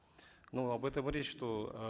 ну об этом речь что э